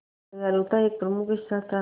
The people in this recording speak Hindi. दयालुता एक प्रमुख हिस्सा था